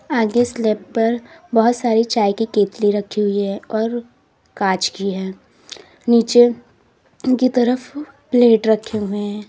आगे स्लैब पर बहुत सारी चाय की केतली रखी हुई है और कांच की है नीचे की तरफ प्लेट रखे हुए हैं।